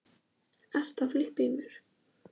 Ég er í leigubíl á leiðinni inn í borgina.